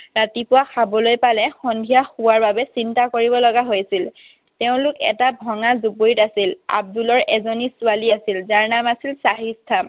ৰাতিপুৱা খাবলৈ পালে সন্ধিয়া খোৱাৰ বাবে চিন্তা কৰিব লগা হৈছিল। তেওঁলোক এটা ভঙা জুপুৰিত আছিল। আব্দুলৰ এজনী ছোৱালী আছিল, যাৰ নাম আছিল চাহিষ্ঠা।